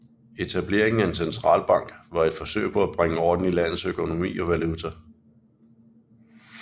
Etableringen af en centralbank var et forsøg på at bringe orden i landets økonomi og valuta